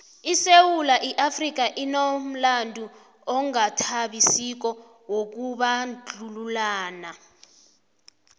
isewula afrika inomlando ongathabisiko wokubandlululana